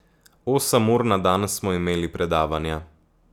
Osem ur na dan smo imeli predavanja.